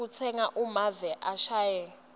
kutsenga kumave angesheya